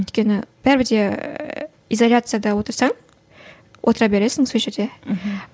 өйткені бәрібір де изоляцияда отырсаң отыра бересің сол жерде мхм